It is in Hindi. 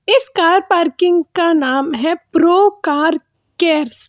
इस कार पार्किंग का नाम है प्रो कार केयर्स ।